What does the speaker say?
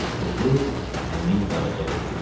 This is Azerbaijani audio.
Bu qız həmin Qaraca qız idi.